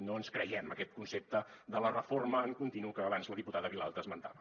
no ens creiem aquest concepte de la reforma en continu que abans la diputada vilalta esmentava